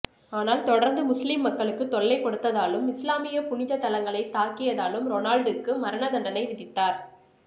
ஆனால் தொடர்ந்து முசுலிம் மக்களுக்குத் தொல்லை கொடுத்ததாலும் இசுலாமியப் புனிதத் தலங்களைத் தாக்கியதாலும் ரோனால்டுக்கு மரண தண்டனை விதித்தார்